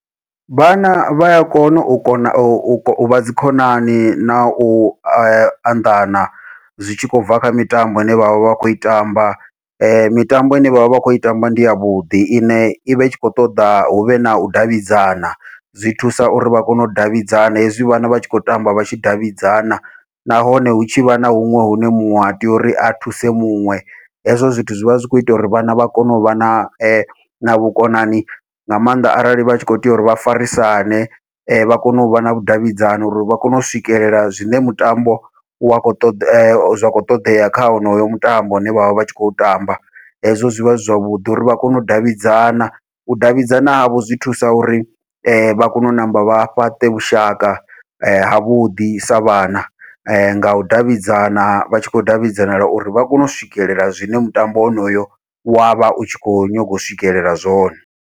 Vhana vha ya kona u kona u vha dzikhonani nau anḓana, zwi tshi khou bva kha mitambo ine vhavha vha khou i tamba mitambo ine vhavha vha khou i tamba ndi yavhuḓi ine i vha i tshi khou ṱoḓa huvhe nau davhidzana, zwi thusa uri vha kone u davhidzana hezwi vhana vha tshi khou tamba vha tshi davhidzana nahone hu tshivha na huṅwe hune muṅwe a tea uri a thuse muṅwe, hezwo zwithu zwivha zwi kho ita uri vhana vha kone uvha na vhukonani nga maanḓa arali vha tshi kho tea uri vha farisane vha kone uvha na vhudavhidzani uri vha kone u swikelela zwine mutambo wa khou ṱoḓa zwa kho ṱoḓea kha honoyo mutambo une vhavha vhatshi kho tamba. Hezwo zwivha zwi zwavhuḓi uri vha kone u davhidzana u davhidzana havho zwi thusa uri vha kone u ṋamba vha fhaṱe vhushaka havhuḓi sa vhana, ngau davhidzana vha tshi khou davhidzana uri vha kone u swikelela zwine mutambo wonoyo wavha u tshi kho nyaga u swikelela zwone.